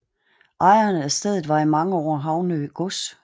Ejeren af stedet var i mange år Havnø gods